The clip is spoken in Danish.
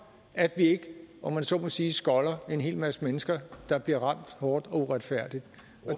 at vi ikke om jeg så må sige skolder en hel masse mennesker der bliver ramt hårdt og uretfærdigt